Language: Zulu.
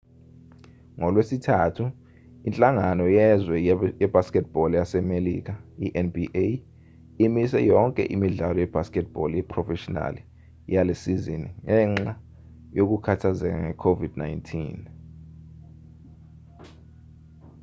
ngolwesithathu inhlangano yezwe ye-basketball yasemelika nba imise yonke imidlalo ye-basketball yeprofeshinali yalesizini ngenxa yokukhathazeka nge-covid 19